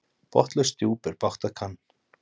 Botnlaust djúp er bágt að kann.